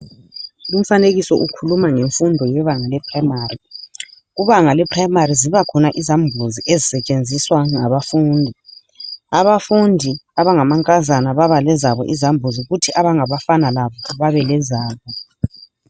Lumfanekiso ukhuluma ngemfundo yebanga le prayimari, kubanga le prayimari zibakhona izambuzi ezisetshenziswa ngabafundi, abafundi abangamankazana baba lezabo izambuzi kuthi abangabafana labo babe lezabo.